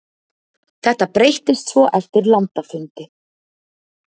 Þetta breyttist svo eftir landafundi.